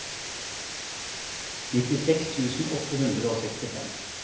nittiseks tusen åtte hundre og sekstifem